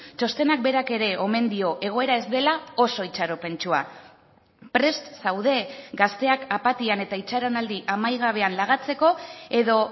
txostenak berak ere omen dio egoera ez dela oso itxaropentsua prest zaude gazteak apatian eta itxaronaldi amaigabean lagatzeko edo